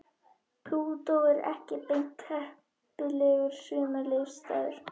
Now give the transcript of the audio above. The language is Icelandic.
Plútó er ekki beint heppilegur sumarleyfisstaður.